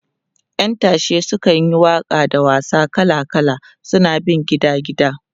ƴan tashe sukan yi Waka da wasa kala kala suna bin gida gida